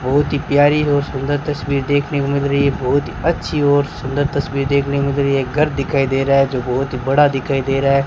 बहुत ही प्यारी और सुंदर तस्वीर देखने को मिल रही है बहुत ही अच्छी और सुंदर तस्वीर देखने को मिल रही है घर दिखाई दे रहा है जो बहुत ही बड़ा दिखाई दे रहा है।